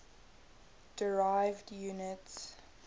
derived units